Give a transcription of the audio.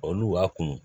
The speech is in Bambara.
Olu b'a kun